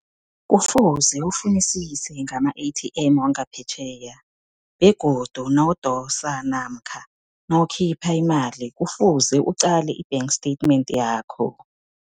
Kufuze ufunisise ngama- A_T_M wangaphetjheya begodu nawudosa namkha nawukhipha imali, kufuze uqale i-bank statement yakho.